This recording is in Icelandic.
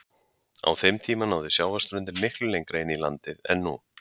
Á þeim tíma náði sjávarströndin miklu lengra inn í landið en nú.